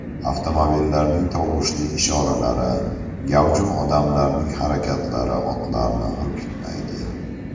Avtomobillarning tovushli ishoralari, gavjum odamlarning harakatlari otlarni hurkitmaydi.